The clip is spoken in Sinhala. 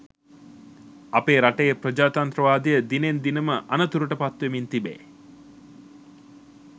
අපේ රටේ ප්‍රජාතන්ත්‍රවාදය දිනෙන් දිනම අනතුරට පත්වෙමින් තිබේ.